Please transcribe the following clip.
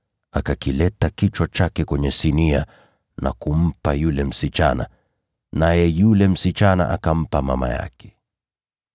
akakileta kichwa chake kwenye sinia na kumpa yule msichana, naye yule msichana akampa mama yake.